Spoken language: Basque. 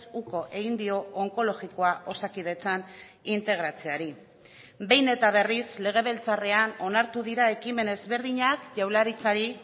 uko egin dio onkologikoa osakidetzan integratzeari behin eta berriz legebiltzarrean onartu dira ekimen ezberdinak jaurlaritzari